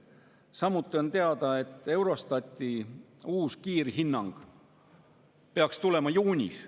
Samuti on teada, et Eurostati uus kiirhinnang peaks tulema juunis.